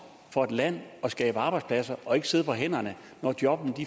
for et land at skabe arbejdspladser og ikke sidde på hænderne når jobbene